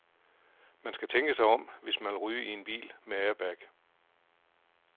Man skal tænke sig om, hvis man vil ryge i en bil med airbag.